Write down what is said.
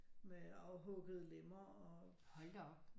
Med afhuggede lemmer og